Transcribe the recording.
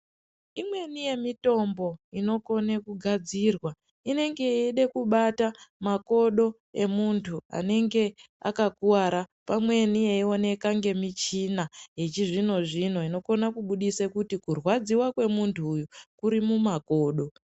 Imweni yemitombo inokone kugadzirwa inenge yeide kubata makodo emuntu anenge akakuvara ,pamweni yeioneka nemichina yechizvino zvino inobudise kuti kurwadziwa kunemuntu uyu kuri mumakodo .